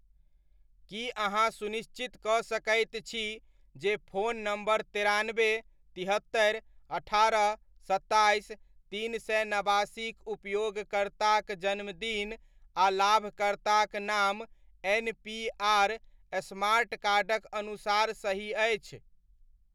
की अहाँ सुनिश्चित कऽ सकैत छी, जे फोन नम्बर तेरानबे, तिहत्तरि, अठारह, सत्ताइस, तीन सए नबासीक उपयोगकर्ताक जन्मदिन आ लाभकर्ताक नाम एन पी आर स्मार्ट कार्डक अनुसार सही अछि।